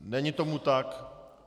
Není tomu tak.